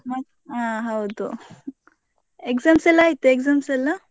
ಮತ್~ ಹಾ ಹೌದು. Exams ಎಲ್ಲಾ ಆಯ್ತಾ exams ಎಲ್ಲಾ?